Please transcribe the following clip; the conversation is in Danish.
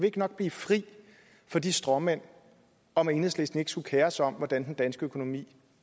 ikke nok blive fri for de stråmænd om at enhedslisten ikke skulle kere sig om hvordan den danske økonomi